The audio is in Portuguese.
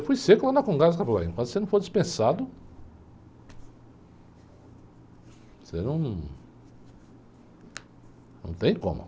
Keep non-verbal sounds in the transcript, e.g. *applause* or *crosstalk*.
Eu fui seco lá na, *unintelligible* se você não for dispensado, você não... não tem como.